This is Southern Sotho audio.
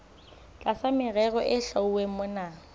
tlasa merero e hlwauweng mona